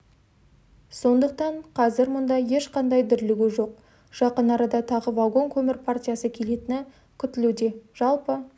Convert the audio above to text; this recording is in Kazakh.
сондықтан қазір мұнда ешқандай дүрлігу жоқ жақын арада тағы вагон көмір партиясы келетіні күтілуде жалпы